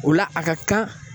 O la a ka kan